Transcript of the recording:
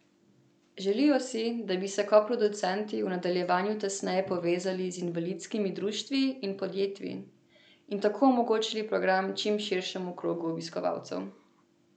Želijo si, da bi se koproducenti v nadaljevanju tesneje povezali z invalidskimi društvi in podjetji in tako omogočili program čim širšemu krogu obiskovalcev.